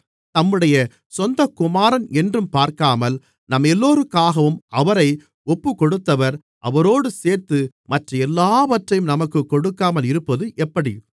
தம்முடைய சொந்தக்குமாரன் என்றும் பார்க்காமல் நம்மெல்லோருக்காகவும் அவரை ஒப்புக்கொடுத்தவர் அவரோடு சேர்த்து மற்ற எல்லாவற்றையும் நமக்குக் கொடுக்காமல் இருப்பது எப்படி